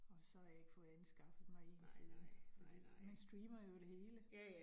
Og så jeg ikke fået anskaffet mig en siden fordi man streamer jo det hele